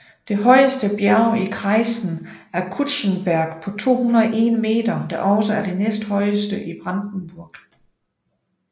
Det højeste bjerg i kreisen er Kutschenberg på 201 meter der også er det næsthøjeste i Brandenburg